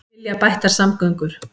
Vilja bættar samgöngur